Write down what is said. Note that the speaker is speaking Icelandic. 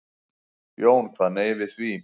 Jón kvað nei við því.